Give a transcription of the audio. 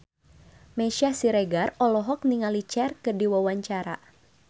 Meisya Siregar olohok ningali Cher keur diwawancara